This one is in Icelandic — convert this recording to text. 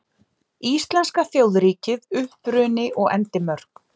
Íslenska þjóðríkið: Uppruni og endimörk.